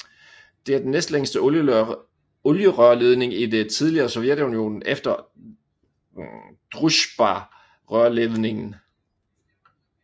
Det er den næstlængste olierørledning i det tidligere Sovjetunionen efter Druzjbarørledningen